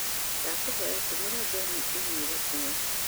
ndakũhoya tũmĩra John i-mīrū ĩyo